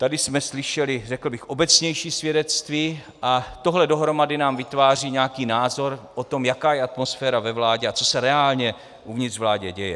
Tady jsme slyšeli, řekl bych, obecnější svědectví a tohle dohromady nám vytváří nějaký názor o tom, jaká je atmosféra ve vládě a co se reálně uvnitř vlády děje.